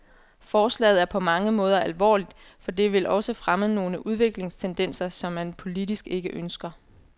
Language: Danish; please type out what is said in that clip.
Forslaget er på mange måder alvorligt, for det vil også fremme nogle udviklingstendenser, som man politisk ikke ønsker.